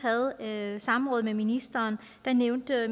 havde samråd med ministeren nævnte